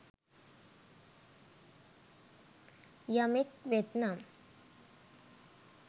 යමෙක් වෙත්නම්